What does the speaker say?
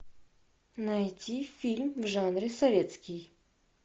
найти фильм в жанре советский